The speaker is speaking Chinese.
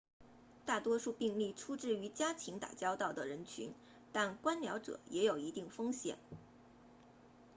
大多数病例出自与家禽打交道的人群但观鸟者也有一定风险